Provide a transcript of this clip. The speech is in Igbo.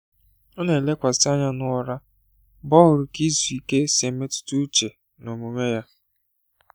Ọ na-elekwasị anya n’ụra mgbe ọ hụrụ ka izu ike si emetụta uche na omume ya.